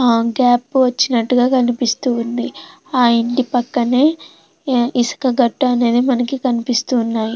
ఆ గ్యాప్ వచ్చినట్టుగా కనిపిస్తుంది ఆ ఇంటి పక్కనే ఇసుక గట్టు అనేది మనకి కనిపిస్తున్నాయి.